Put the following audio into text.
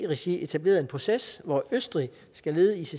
regi etableret en proces hvor østrig skal lede icc